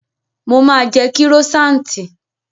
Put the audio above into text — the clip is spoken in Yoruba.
Mo máa jẹ kírósaanti